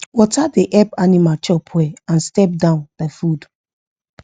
water da help animal chop well and step down da food